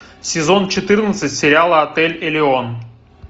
сезон четырнадцать сериала отель элеон